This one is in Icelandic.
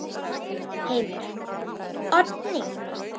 Heimir: Oddný?